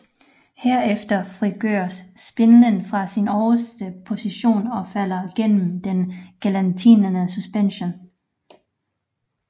Herefter frigøres spindlen fra sin øverste position og falder gennem den gelatinerede suspension